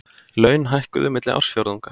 Laun hækkuðu milli ársfjórðunga